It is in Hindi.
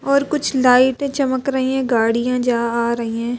और कुछ लाइटें चमक रही हैं गाड़ियां जा आ रही हैं।